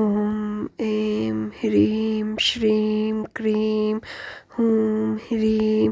ॐ ऐं ह्रीं श्रीं क्रीं हूं ह्रीं